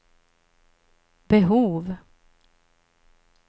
behov